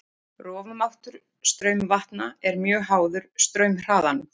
Rofmáttur straumvatna er mjög háður straumhraðanum.